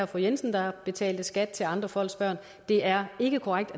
fru jensen der betalte skat til andre folks børn det er ikke korrekt